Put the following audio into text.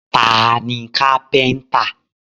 Ta ni kápẹ́ńtà?